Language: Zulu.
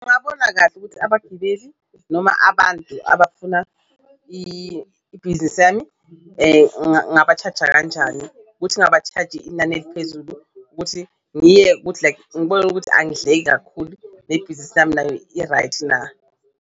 Ungabona kahle ukuthi abagibeli noma abantu abafuna ibhizinisi yami ngaba-charge-a kanjani, ukuthi ngaba-charge-i inani eliphezulu ukuthi ngiye ukuthi like ngibone ukuthi angidleki kakhulu nebhizinisi yami nayo i-right na.